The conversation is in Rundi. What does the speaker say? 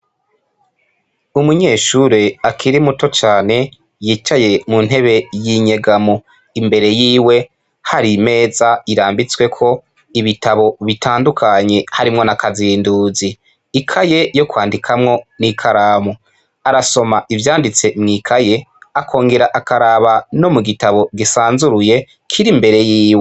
Umunyeshure akiri muto cane yicaye muntebe y’inyegamo. Imbere yiwe har’imeza irambitsweko ibitabo bitandukanye harimwo na Kazinduzi. Ikaye yo kwandikamwo n’ikaramu, arasoma ivyanditse mw’ikaye, akongera akaraba no mugitabo gisanzuruye kir’imbere yiwe.